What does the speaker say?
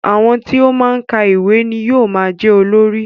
Àwọn tí ó máa ń ka ìwé ni yóò máa jẹ́ olórí